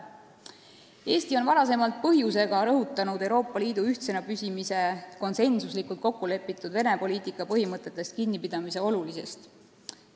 Eesti on varem põhjusega rõhutanud Euroopa Liidu ühtsena püsimise nimel konsensuslikult kokku lepitud Vene-poliitika põhimõtetest kinnipidamise olulisust.